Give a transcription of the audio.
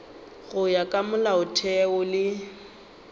go ya ka molaotheo le